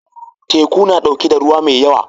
Teku na ɗauke da ruwa mai yawa.